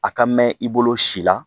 A ka mɛn i bolo si la